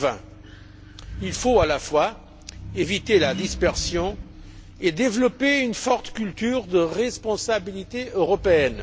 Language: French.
2020. Il faut à la fois éviter la dispersion et développer une forte culture de la responsabilité européenne.